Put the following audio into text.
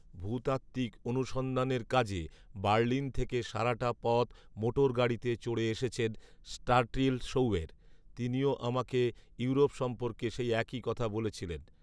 ভূতাত্ত্বিক অনুসন্ধানের কাজে বার্লিন থেকে সারাটা পথ মোটরগাড়িতে চড়ে এসেছেন স্ট্রাটিল সৌয়ের। তিনিও আমাকে ইউরোপ সম্পর্কে সেই একই কথা বলেছিলেন।